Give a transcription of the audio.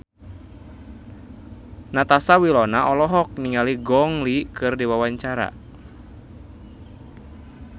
Natasha Wilona olohok ningali Gong Li keur diwawancara